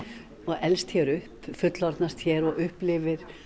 og elst hér upp fullorðnast hér og upplifir